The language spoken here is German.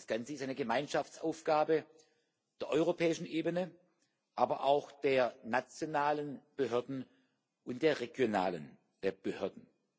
Das Ganze ist eine Gemeinschaftsaufgabe der europäischen Ebene, aber auch der nationalen Behörden und der regionalen Behörden.